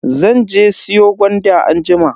Zan je siyo gwanda anjima.